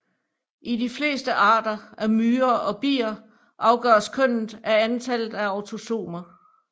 I de fleste arter af myrer og bier afgøres kønnet af antallet af autosomer